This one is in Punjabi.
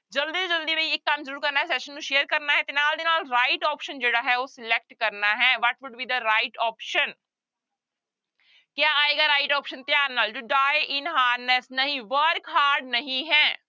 ਜ਼ਲਦੀ ਤੋਂ ਜ਼ਲਦੀ ਵੀ ਇੱਕ ਕੰਮ ਜ਼ਰੂਰ ਕਰਨਾ ਹੈ session ਨੂੰ share ਕਰਨਾ ਹੈ ਤੇ ਨਾਲ ਦੀ ਨਾਲ right option ਜਿਹੜਾ ਹੈ ਉਹ select ਕਰਨਾ ਹੈ what would be the right option ਕਿਆ ਆਏਗਾ right option ਧਿਆਨ ਨਾਲ to die in harness ਨਹੀਂ work hard ਨਹੀਂ ਹੈ।